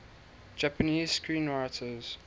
japanese screenwriters